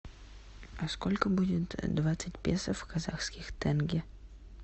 а сколько будет двадцать песо в казахских тенге